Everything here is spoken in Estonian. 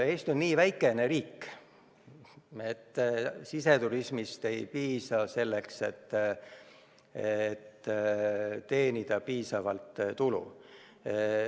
Eesti on niivõrd väike riik, et siseturismist ei piisa selleks, et teenida piisavalt tulu.